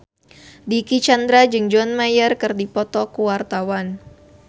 Dicky Chandra jeung John Mayer keur dipoto ku wartawan